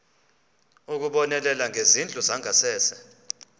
ukubonelela ngezindlu zangasese